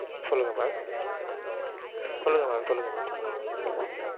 சொல்லுங்க mam சொல்லுங்க mam சொல்லுங்க mam சொல்லுங்க mam.